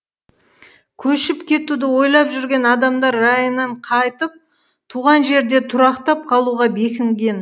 көшіп кетуді ойлап жүрген адамдар райынан қайтып туған жерде тұрақтап қалуға бекінген